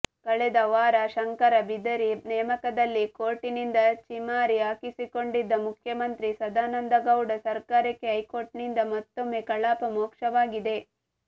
ಕಳೆದ ವಾರ ಶಂಕರ ಬಿದರಿ ನೇಮಕದಲ್ಲಿ ಕೋರ್ಟಿನಿಂದ ಛೀಮಾರಿ ಹಾಕಿಸಿಕೊಂಡಿದ್ದ ಮುಖ್ಯಮಂತ್ರಿ ಸದಾನಂದಗೌಡ ಸರಕಾರಕ್ಕೆ ಹೈಕೋರ್ಟಿನಿಂದ ಮತ್ತೊಮ್ಮೆ ಕಪಾಳಮೋಕ್ಷವಾಗಿದೆ